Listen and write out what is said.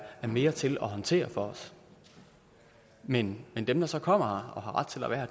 mere til at håndtere for os men men dem der så kommer her og har ret til at være